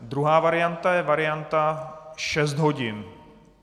Druhá varianta je varianta šest hodin.